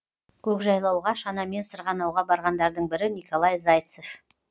көкжайлауға шанамен сырғанауға барғандардың бірі николай зайцев